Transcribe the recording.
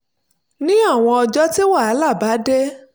ní àwọn ọjọ́ tí wàhálà bá dé